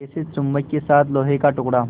जैसे चुम्बक के साथ लोहे का टुकड़ा